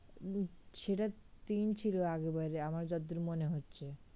উম সেটা তিন ছিল আগের বার আমার যতদূর মনে হচ্ছে